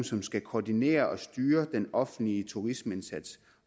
som skal koordinere og styre den offentlige turismeindsats